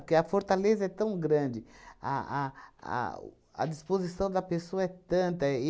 Porque a fortaleza é tão grande, a a ao a disposição da pessoa é tanta